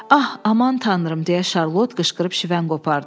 Ax, aman tanrım deyə Şarlot qışqırıb şivən qopardı.